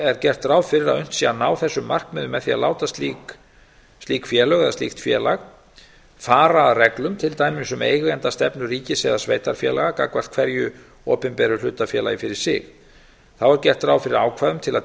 er gert ráð fyrir að unnt sé að ná þessum markmiðum með því að láta slík félög eða slíkt félag fara að reglum til dæmis um eigendastefnu ríkis eða sveitarfélaga gagnvart hverju opinberu hlutafélagi fyrir sig þá er gert ráð fyrir ákvæðum til að